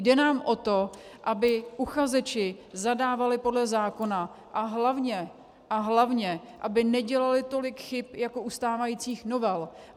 Jde nám o to, aby uchazeči zadávali podle zákona a hlavně, hlavně aby nedělali tolik chyb jako u stávajících novel.